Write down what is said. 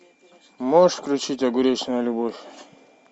можешь включить огуречная любовь